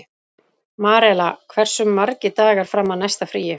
Marela, hversu margir dagar fram að næsta fríi?